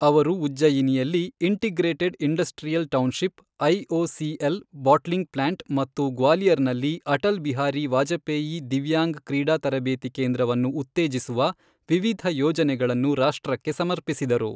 ಅವರು ಉಜ್ಜಯಿನಿಯಲ್ಲಿ integrated industrial township, IOCL bottling plant ಮತ್ತು ಗ್ವಾಲಿಯರ್ನಲ್ಲಿ ಅಟಲ್ ಬಿಹಾರಿ ವಾಜಪೇಯಿ ದಿವ್ಯಾಂಗ್ ಕ್ರೀಡಾ ತರಬೇತಿ ಕೇಂದ್ರವನ್ನು ಉತ್ತೇಜಿಸುವ ವಿವಿಧ ಯೋಜನೆಗಳನ್ನು ರಾಷ್ಟ್ರಕ್ಕೆ ಸಮರ್ಪಿಸಿದರು.